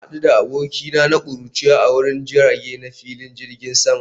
Na hadu da abokina na kuruciya a wurin jirage na filin jirgin sama